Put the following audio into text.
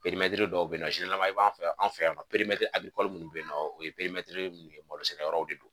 dɔw be nɔ i b'an fɛ yan an fɛ yan nɔ munnu be nɔɔ o ye nun ye malo sɛnɛyɔrɔw de don.